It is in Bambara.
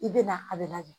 I bɛ na a bɛ lajɛ